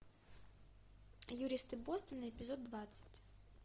юристы бостона эпизод двадцать